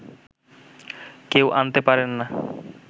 কেউ আনতে পারেন না